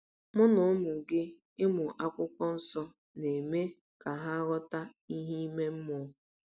Mụ na ụmụ gị ịmụ um Akwụkwọ Nsọ na-eme um ka um ha “ghọta ihe ime mmụọ”